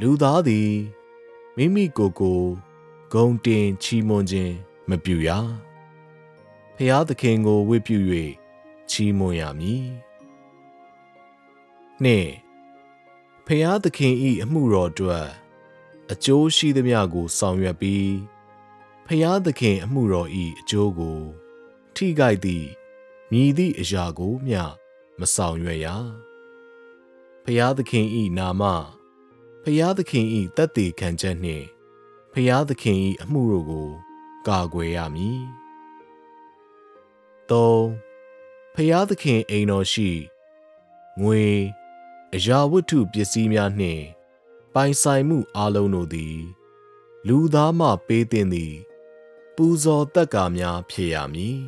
လူသားသည် မိမိကိုယ်ကိုယ် ဂုဏ်တင် ချီးမွမ်းခြင်း မပြုရ။ ဘုရားသခင်ကို ၀တ်ပြု၍ ချီးမွမ်းရမည်။ ၂။ ဘုရားသခင်၏အမှုတော်အတွက် အကျိုးရှိသမျှကို ဆောင်ရွက်ပြီး ဘုရားသခင်အမှုတော်၏ အကျိုးကို ထိခိုက်သည့် မည်သည့်အရာကိုမျှ မဆောင်ရွက်ရ။ ဘုရားသခင်၏နာမ၊ ဘုရားသခင်၏ သက်သေခံချက်နှင့် ဘုရားသခင်၏အမှုတို့ကို ကာကွယ်ရမည်။ ၃။ ဘုရားသခင်အိမ်တော်ရှိ ငွေ၊ အရာဝတ္ထုပစ္စည်းများနှင့် ပိုင်ဆိုင်မှုအားလုံးတို့သည် လူသားမှပေးသင့်သည့် ပူဇော်သက္ကာများ ဖြစ်ရမည်။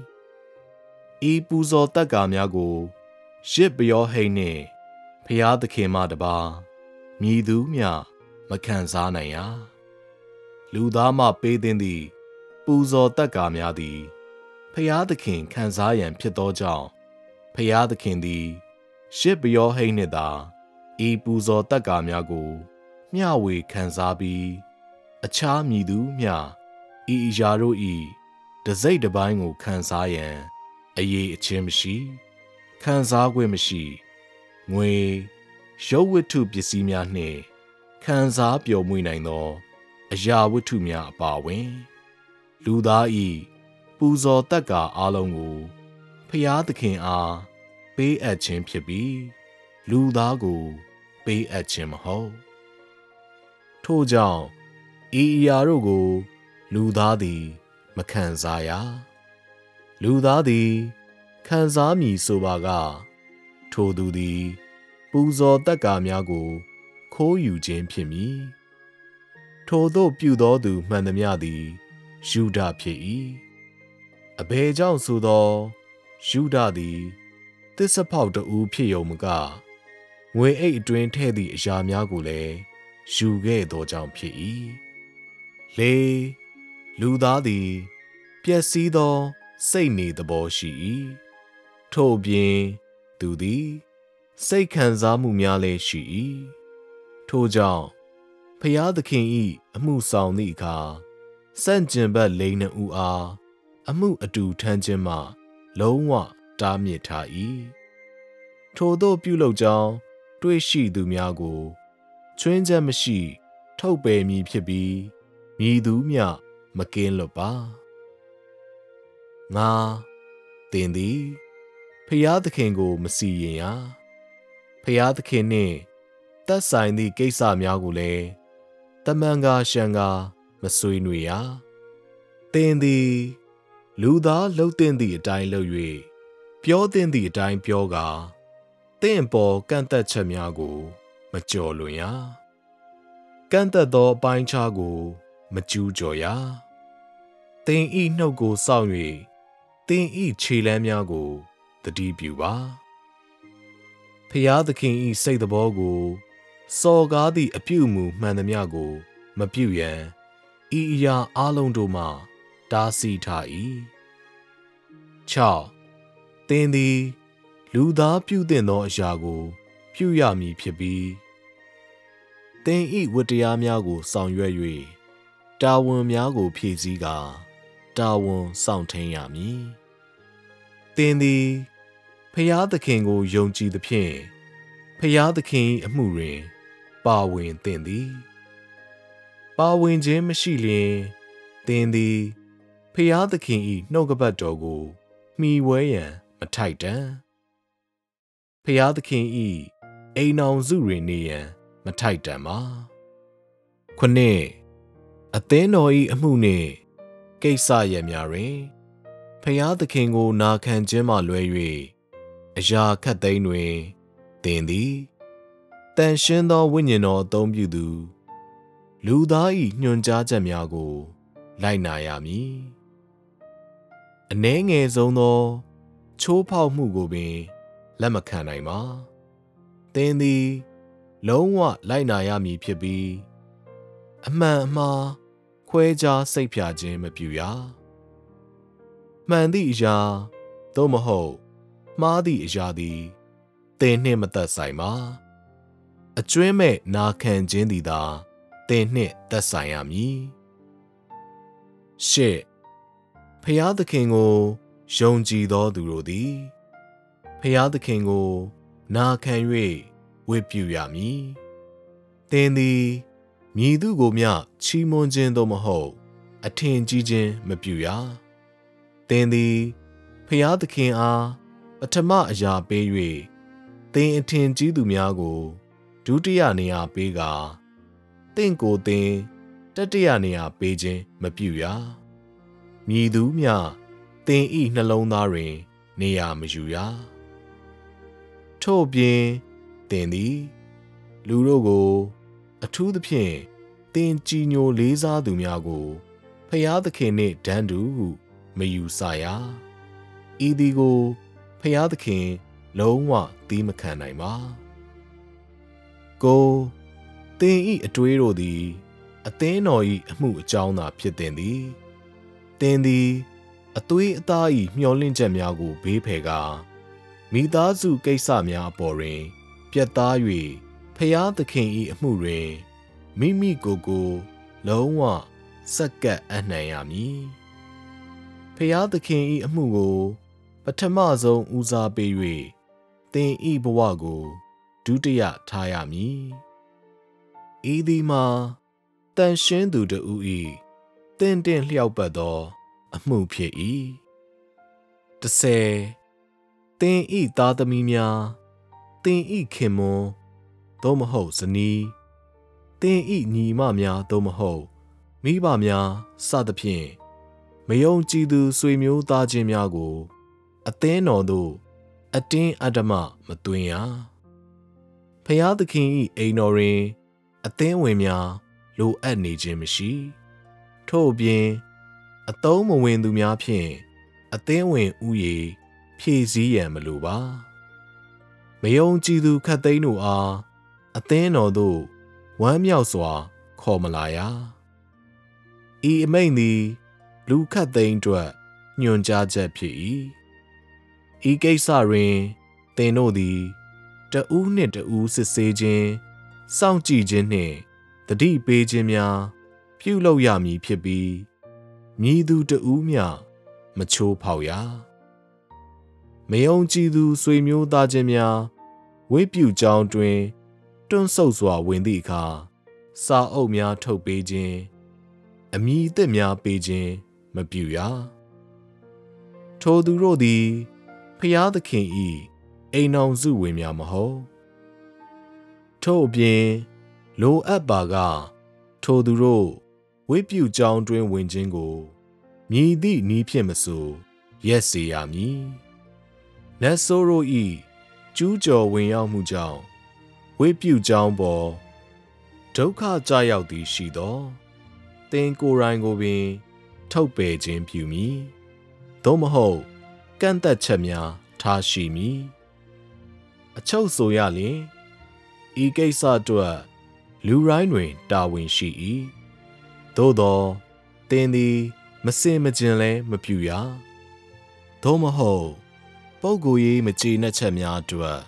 ဤပူဇော်သက္ကာများကို ယဇ်ပုရောဟိတ်နှင့် ဘုရားသခင်မှတပါး မည်သူမျှ မခံစားနိုင်ရ၊ လူသားမှပေးသင့်သည့် ပူဇော်သက္ကာများသည် ဘုရားသခင် ခံစားရန် ဖြစ်သောကြောင့် ဘုရားသခင်သည် ယဇ်ပုရောဟိတ်နှင့်သာဤပူဇော်သက္ကာများကို မျှဝေခံစားပြီး အခြားမည်သူမျှ ဤအရာတို့၏ တစ်စိတ်တစ်ပိုင်းကိုခံစားရန် အရည်အချင်းမရှိ၊ ခံစားခွင့်မရှိ။ (ငွေ၊ ရုပ်ဝတ္ထုပစ္စည်းများနှင့် ခံစားပျော်မွေ့နိုင်သော အရာဝတ္ထုများအပါအဝင်) လူသား၏ပူဇော်သက္ကာအားလုံးကို ဘုရားသခင်အား ပေးအပ်ခြင်းဖြစ်ပြီး လူသားကို ပေးအပ်ခြင်းမဟုတ်။ ထို့ကြောင့် ဤအရာတို့ကို လူသားသည်မခံစားရ၊ လူသားသည် ခံစားမည်ဆိုပါက ထိုသူသည် ပူဇော်သက္ကာများကို ခိုးယူခြင်းဖြစ်မည်။ ထိုသို့ပြုသောသူမှန်သမျှသည် ယုဒဖြစ်၏။ အဘယ်ကြောင့်ဆိုသော် ယုဒသည် သစ္စာဖောက်တစ်ဦးဖြစ်ရုံမက ငွေအိတ်အတွင်းထည့်သည့် အရာများကိုလည်း ယူခဲ့သောကြောင့်ဖြစ်၏။ ၄။ လူသားသည် ပျက်စီးသောစိတ်နေသဘောရှိ၏။ ထို့အပြင် သူသည် စိတ်ခံစားမှုများလည်း ရှိ၏။ ထို့ကြောင့် ဘုရားသခင်၏အမှုဆောင်သည့်အခါ ဆန့်ကျင်ဘက်လိင်နှစ်ဦးအား အမှုအတူထမ်းခြင်းမှ လုံးဝတားမြစ်ထား၏။ ထိုသို့ပြုလုပ်ကြောင်းတွေ့ရှိသူများကို ခြွင်းချက်မရှိထုတ်ပယ်မည်ဖြစ်ပြီး မည်သူမျှ မကင်းလွတ်ပါ။ ၅။ သင်သည် ဘုရားသခင်ကို မစီရင်ရ၊ ဘုရားသခင်နှင့်သက်ဆိုင်သည့်ကိစ္စများကိုလည်း သာမန်ကာလျှံကာ မဆွေးနွေးရ။ သင်သည် လူသားလုပ်သင့်သည့်အတိုင်းလုပ်၍ ပြောသင့်သည့်အတိုင်း ပြောကာ သင့်အပေါ် ကန့်သတ်ချက်များကို မကျော်လွန်ရ၊ ကန့်သတ်သောအပိုင်းအခြားကို မကျူးကျော်ရ။ သင်၏နှုတ်ကို စောင့်၍ သင်၏ ခြေလှမ်းများကိုသတိပြုပါ။ ဘုရားသခင်၏စိတ်သဘောကို စော်ကားသည့်အပြုအမူမှန်သမျှကို မပြုရန် ဤအရာအားလုံးတို့မှ တားဆီးထား၏။ ၆။ သင်သည် လူသားပြုသင့်သောအရာကို ပြုရမည်ဖြစ်ပြီး သင်၏ဝတ္တရားများကို ဆောင်ရွက်၍ တာဝန်များကို ဖြည့်ဆည်းကာ တာဝန်စောင့်ထိန်းရမည်။ သင်သည် ဘုရားသခင်ကို ယုံကြည်သဖြင့် ဘုရားသခင်၏ အမှုတွင် ပါ၀င်သင့်သည်။ ပါ၀င်ခြင်းမရှိလျှင် သင်သည် ဘုရားသခင်၏နှုတ်ကပတ်တော်ကို မှီဝဲရန် မထိုက်တန်။ ဘုရားသခင်၏ အိမ်ထောင်စုတွင်နေရန် မထိုက်တန်ပါ။ ၇။ အသင်းတော်၏အမှုနှင့်ကိစ္စရပ်များတွင် ဘုရားသခင်ကိုနာခံခြင်းမှလွဲ၍ အရာခပ်သိမ်းတွင် သင်သည် သန့်ရှင်းသောဝိညာဉ်တော် အသုံးပြုသူ လူသား၏ ညွှန်ကြားချက်များကို လိုက်နာရမည်။ အနည်းငယ်ဆုံးသော ချိုးဖောက်မှုကိုပင် လက်မခံနိုင်ပါ။ သင်သည် လုံးဝလိုက်နာရမည်ဖြစ်ပြီး အမှန်အမှား ခွဲခြားစိတ်ဖြာခြင်း မပြုရ။ မှန်သည့်အရာ သို့မဟုတ် မှားသည့်အရာသည် သင်နှင့်မသက်ဆိုင်ပါ။ အကြွင်းမဲ့နာခံခြင်းသည်သာ သင်နှင့်သက်ဆိုင်ရမည်။ ၈။ ဘုရားသခင်ကိုယုံကြည်သောသူတို့သည် ဘုရားသခင်ကို နာခံ၍ဝတ်ပြုရမည်။ သင်သည် မည်သူ့ကိုမျှ ချီးမွမ်းခြင်း သို့မဟုတ် အထင်ကြီးခြင်းမပြုရ။ သင်သည် ဘုရားသခင်အား ပထမအရာပေး၍ သင်အထင်ကြီးသူများကို ဒုတိယနေရာပေးကာ သင့်ကိုယ်သင် တတိယနေရာပေးခြင်း မပြုရ။ မည်သူမျှ သင်၏ နှလုံးသားတွင် နေရာမယူရ။ ထို့အပြင် သင်သည် လူတို့ကို၊ အထူးသဖြင့် သင်ကြည်ညိုလေးစားသူများကို၊ ဘုရားသခင်နှင့် တန်းတူဟု မယူဆရ။ ဤသည်ကို ဘုရားသခင် လုံးဝသည်းမခံနိုင်ပါ။ ၉။ သင်၏အတွေးတို့သည် အသင်းတော်၏အမှုအကြောင်းသာဖြစ်သင့်သည်။ သင်သည် အသွေးအသား၏ မျှော်လင့်ချက်များကို ဘေးဖယ်ကာ၊ မိသားစုကိစ္စများအပေါ်တွင် ပြတ်သား၍၊ ဘုရားသခင်၏ အမှုတွင် မိမိကိုယ်ကိုယ် လုံးဝဆက်ကပ်အပ်နှံရမည်။ ဘုရားသခင်၏အမှုကို ပထမဆုံးဦးစားပေး၍ သင်၏ဘဝကို ဒုတိယထားရမည်။ ဤသည်မှာ သန့်ရှင်းသူတစ်ဦး၏ သင့်တင့်လျောက်ပတ်သော အမှုဖြစ်၏။ ၁၀။ (သင်၏သားသမီးများ၊ သင်၏ခင်ပွန်း သို့မဟုတ် ဇနီး၊ သင်၏ညီအမများ သို့မဟုတ် မိဘများ စသည်ဖြင့်) မယုံကြည်သူ ဆွေမျိုးသားချင်းများကို အသင်းတော်သို့ အတင်းအဓမ္မမသွင်းရ။ ဘုရားသခင်၏အိမ်တော်တွင် အသင်းဝင်များ လိုအပ်နေခြင်းမရှိ။ ထို့အပြင် အသုံးမဝင်သူများဖြင့် အသင်းဝင်ဦးရေ ဖြည့်ဆည်းရန်မလိုပါ။ မယုံကြည်သူခပ်သိမ်းတို့အား အသင်းတော်သို့ ၀မ်းမြောက်စွာ ခေါ်မလာရ။ ဤအမိန့်သည် လူခပ်သိမ်းအတွက် ညွှန်ကြားချက်ဖြစ်၏။ ဤကိစ္စတွင် သင်တို့သည် တစ်ဦးနှင့်တစ်ဦး စစ်ဆေးခြင်း၊ စောင့်ကြည့်ခြင်းနှင့် သတိပေးခြင်းများ ပြုလုပ်ရမည်ဖြစ်ပြီး မည်သူတစ်ဦးမျှ မချိုးဖောက်ရ။ မယုံကြည်သူ ဆွေမျိုးသားချင်းများ ၀တ်ပြုကျောင်းအတွင်း တွန့်ဆုတ်စွာဝင်သည့်အခါ စာအုပ်များထုတ်ပေးခြင်း၊ အမည်သစ်များပေးခြင်း မပြုရ။ ထိုသူတို့သည် ဘုရားသခင်၏ အိမ်ထောင်စုဝင်များ မဟုတ်။ ထို့အပြင် လိုအပ်ပါက ထိုသူတို့ ၀တ်ပြုကျောင်းအတွင်းဝင်ခြင်းကို မည်သည့်နည်းဖြင့်မဆို ရပ်စေရမည်။ နတ်ဆိုးတို့၏ ကျူးကျော် ၀င်ရောက်မှုကြောင့် ၀တ်ပြုကျောင်းအပေါ် ဒုက္ခကျရောက်သည်ရှိသော် သင်ကိုယ်တိုင်ကိုပင် ထုတ်ပယ်ခြင်းပြုမည်။ သို့မဟုတ် ကန့်သတ်ချက်များ ထားရှိမည်။ အချုပ်ဆိုရလျှင် ဤကိစ္စအတွက် လူတိုင်းတွင် တာဝန်ရှိ၏။ သို့သော် သင်သည် မဆင်မခြင်လည်း မပြုရ။ သို့မဟုတ် ပုဂ္ဂိုလ်ရေးမကျေနပ်ချက်များအတွက်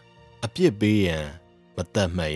အပြစ်ပေးရန် မသတ်မှတ်